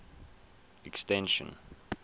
extension